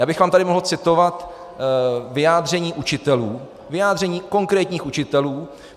Já bych vám tady mohl citovat vyjádření učitelů, vyjádření konkrétních učitelů.